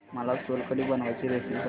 मला सोलकढी बनवायची रेसिपी सांग